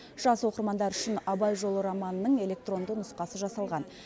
жас оқырмандар үшін абай жолы романының электронды нұсқасы жасалған